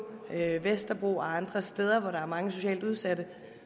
vesterbro og andre steder hvor der er mange socialt udsatte